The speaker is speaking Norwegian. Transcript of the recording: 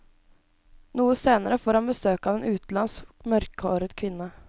Noe senere får han besøk av en utenlandsk, mørkhåret kvinne.